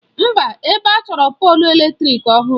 Mba, ebe a chọrọ polụ eletrịk ọhụrụ.